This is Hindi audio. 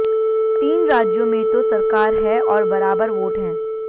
तीन राज्यों में तो सरकार है और बराबर वोट हैं